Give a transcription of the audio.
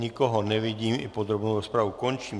Nikoho nevidím i podrobnou rozpravu končím.